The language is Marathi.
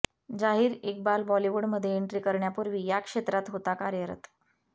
जहीर इक्बाल बॉलिवूडमध्ये एन्ट्री करण्यापूर्वी या क्षेत्रात होता कार्यरत